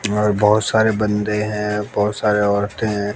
और बहुत सारे बंदे हैं बहुत सारे औरतें हैं।